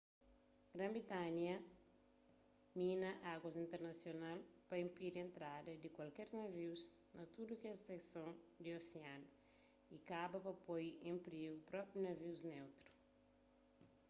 gran-britanha mina aguas internasional pa inpidi entrada di kualker navius na tudu kes sekson di osianu y kaba pa poi en prigu propi navius neutru